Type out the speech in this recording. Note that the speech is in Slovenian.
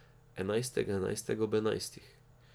Enajstega enajstega ob enajstih.